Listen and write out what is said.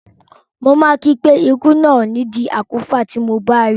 Mo máa kí i pé ikú náà ò ní di àkúfà tí mo bá rí i.